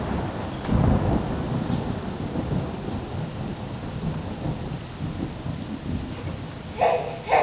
пожалуйста прямой эфир с андреем малаховым